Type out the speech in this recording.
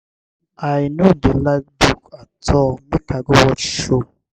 i no dey like book at all make i go watch show.